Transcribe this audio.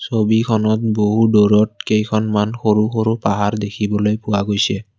ছবিখনত বহুত দুৰত কেইখনমান সৰু সৰু পাহাৰ দেখিবলৈ পোৱা গৈছে।